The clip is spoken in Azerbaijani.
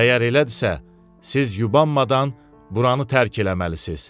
Əgər elədirsə, siz yubanmadan buranı tərk eləməlisiz.